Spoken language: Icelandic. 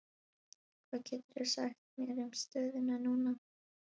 Hvað geturðu sagt mér um stöðuna núna?